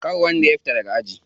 Kar wanda ya fita daga aji.